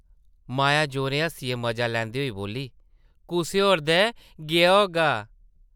माया जोरें हस्सियै मजा लैंदे होई बोल्ली, कुसै होर दै गेआ होगा।